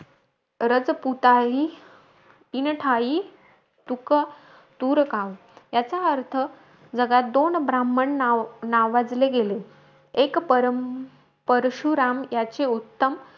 राजपुतायी इन ठायी तुक तूर काम. याचा अर्थ, जगात दोन ब्राम्हण नाव नावाजले गेले. एक परम परशुराम याचे उत्तम,